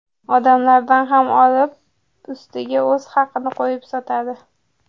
Odamlardan ham olib, ustiga o‘z haqini qo‘yib sotadi.